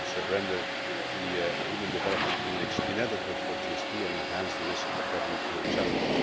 They would render the Human Development Index inadequate for the GSP and enhance the risk of WTO challenge.